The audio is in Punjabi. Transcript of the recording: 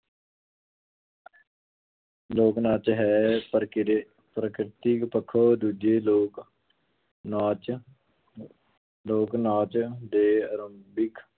ਲੋਕ ਨਾਚ ਹੈ, ਪ੍ਰਕਿਰ~ ਪ੍ਰਕਿਰਤਿਕ ਪੱਖੋਂ ਦੂਜੇ ਲੋਕ ਨਾਚ ਲੋਕ ਨਾਚ ਦੇ ਅਰੰਭਿਕ